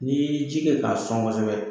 N'i e ji kɛ k'a sɔn kosɛbɛ